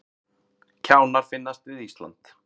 Kjánar finnast við Ísland